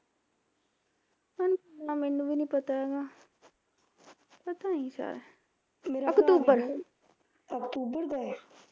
ਹੁਣ ਏਨਾਂ ਮੈਂਨੂੰ ਵੀ ਨੀ ਪਤਾ ਹੈਗਾ ਪਤਾ ਨੀ ਸ਼ਾਇਦ ਅਕਤੂਬਰ